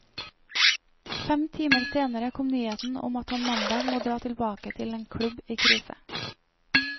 Fem timer senere kom nyheten om at han mandag må dra tilbake til en klubb i krise.